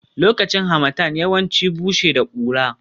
Lokacin Harmattan yawanci bushe da kura